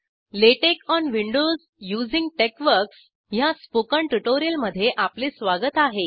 LaTeX on Windows using TeXworks ह्या spoken ट्युटोरिअलमध्ये आपले स्वागत आहे